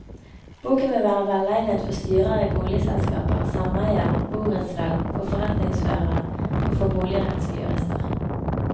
Boken vil være velegnet for styrer i boligselskaper, sameier, borettslag, for forretningsførere og for boligrettsjurister.